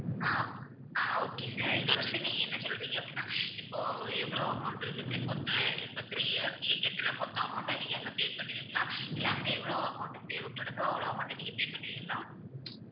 ஆஹ் அஹ் okay sir இதை வந்து நீங்க என்ன சொல்றீங்க அப்படின்னா இப்போ எவ்வளவு amount இருக்கு sir மொத்தம் இப்ப three years நீங்க கட்டற மொத்த amount அ நீங்க அங்க pay பண்ணுவீங்களா இல்ல அங்க எவ்வளவு amount தேவைப்படுதோ அவ்வளவு மட்டும் நீங்க pay பண்ணுவீங்களா